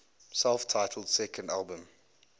self titled second album